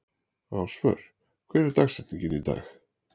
Ásvör, hver er dagsetningin í dag?